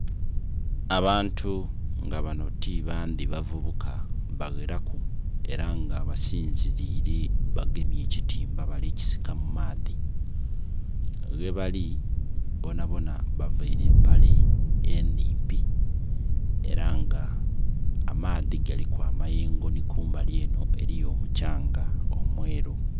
Abantu nga banho ti bandhi bavubuka bagheraku era nga basinzirile bagemye ekitimba bali kisika mu maadhi, ghebali bonabona bavaire empale enhimpi era nga amaadhi galiku amayengo nhi kumbali enho eriyo omukyanga omweru.